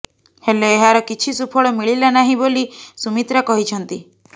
ହେଲେ ଏହାର କିଛି ସୁଫଳ ମିଳିଲା ନାହିଁ ବୋଲି ସୁମିତ୍ରା କହିଛନ୍ତି